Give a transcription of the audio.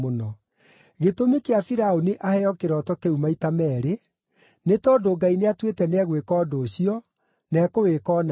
Gĩtũmi kĩa Firaũni aheo kĩroto kĩu maita meerĩ, nĩ tondũ Ngai nĩatuĩte nĩegwĩka ũndũ ũcio, na ekũwĩka o narua.